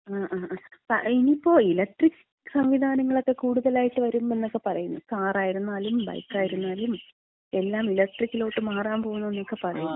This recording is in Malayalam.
ആ ആ ആ ഇനിയിപ്പോ ഇലക്ട്രിക് സംവിധാനങ്ങളൊക്കെ കൂടുതലായിട്ട് വരും എന്നൊക്കെ പറയുന്നു. കാറായിരുന്നാലും ബൈക്കായിരുന്നാലും എല്ലാം ഇലക്ട്രിക്കിലോട്ട് മാറാമ്പോകുന്നു എന്നക്ക പറയുന്നു.